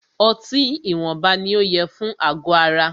Ọtí ìwọnba ní o yẹ fún àgọ ara.